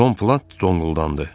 Tom Plant donquldandı.